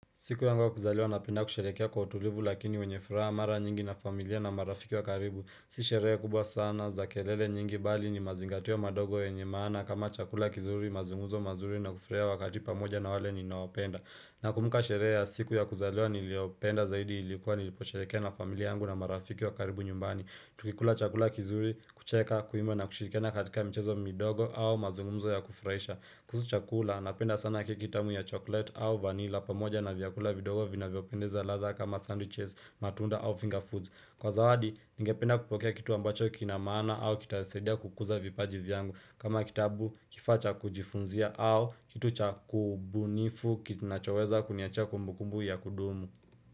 Siku yangu ya kuzaliwa napenda kusherekea kwa utulivu lakini wenye furaha mara nyingi na familia na marafiki wa karibu Si sherehe kubwa sana za kelele nyingi bali ni mazingatio madogo yenye maana kama chakula kizuri mazunguzo mazuri na kufuruhia wakati pamoja na wale ni naopenda Nakumbuka sherea siku ya kuzaliwa niliopenda zaidi ilikuwa nilipo sherekea na familia angu na marafiki wa karibu nyumbani Tukikula chakula kizuri kucheka kuimba na kushirikiana katika michezo midogo au mazunguzo ya kufurahisha kuhusu chakula, napenda sana kia kitamu ya chocolate au vanilla pamoja na vyakula vidogo vina vyopendeza radha kama sandwiches, matunda au finger foods. Kwa zawadi, nige penda kupokea kitu ambacho kinamana au kitasadia kukuza vipaji vyangu. Kama kitabu, kifaa cha kujifunzia au kitu cha kubunifu nachoweza kuniachia kumbukumbu ya kudumu.